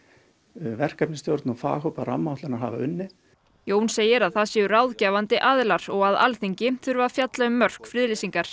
verkefnisstjórn og faghópar rammaáætlunar hafa unnið Jón segir að það séu ráðgefandi aðilar og að Alþingi þurfi að fjalla um mörk friðlýsingar